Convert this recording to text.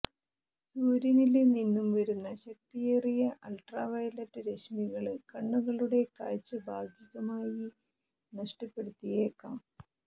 സൂര്യനില് നിന്ന് വരുന്ന ശക്തിയേറിയ അള്ട്രാവയലറ്റ് രശ്മികള് കണ്ണുകളുടെ കാഴ്ച ഭാഗികമായി നഷ്ടപ്പെടുത്തിയേക്കാം